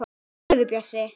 Í alvöru, Bjössi.